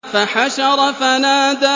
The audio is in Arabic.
فَحَشَرَ فَنَادَىٰ